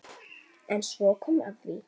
En svo kom að því.